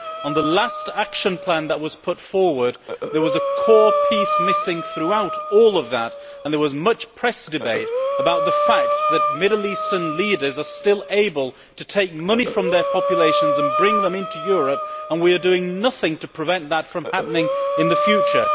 In the last action plan that was put forward, there was a core element missing throughout, and there was much press debate about the fact that Middle Eastern leaders are still able to take money from their populations and bring it into Europe, and we are doing nothing to prevent that from happening in the future.